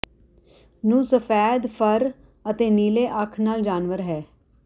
ਨੂੰ ਸਫੈਦ ਫਰ ਅਤੇ ਨੀਲੇ ਅੱਖ ਨਾਲ ਜਾਨਵਰ ਹੈ